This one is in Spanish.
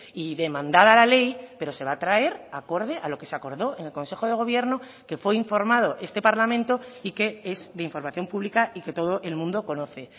y demandada la ley pero se va a traer acorde a lo que se acordó en el consejo de gobierno que fue informado este parlamento y que es de información pública y que todo el mundo conoce